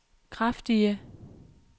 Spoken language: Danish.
kraftige